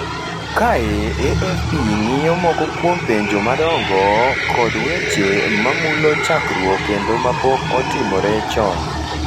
Kae AFP ng’iyo moko kuom penjo madongo kod weche ma mulo chakruok kendo ma pok otimore chon: